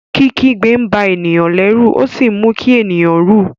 Kikigbe nba eniyan lérù o si mú kí ènìyàn rú.